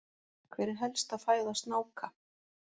Hver er helsta fæða snáka?